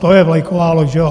To je vlajková loď.